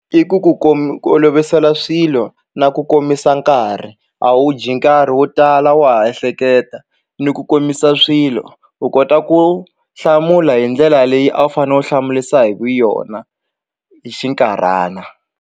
I ku ku ku olovisela swilo na ku komisa nkarhi a wu dyi nkarhi wo tala wa ha ehleketa ni ku komisa swilo u kota ku hlamula hi ndlela leyi a wu fanele u hlamurisa hi vuyona hi xinkarhana.